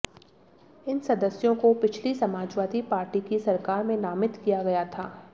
इन सदस्यों को पिछली समाजवादी पार्टी की सरकार में नामित किया गया था